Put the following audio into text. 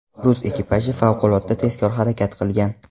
Rus ekipaji favqulodda tezkor harakat qilgan.